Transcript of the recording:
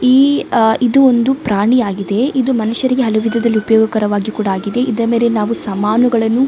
ಈ ಆ ಇದು ಒಂದು ಪ್ರಾಣಿಯಾಗಿದೆ ಇದು ಮನುಷ್ಯರಿಗೆ ಹಲವು ವಿಧದಲ್ಲಿ ಉಪಯೋಗಕರವಾಗಿ ಕೂಡ ಆಗಿದೆ ಇದರ ಮೇಲೆ ನಾವು ಸಾಮಾನುಗಳನ್ನು --